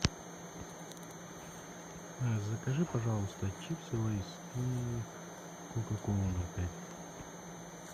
закажи пожалуйста чипсы лейс и кока колу ноль пять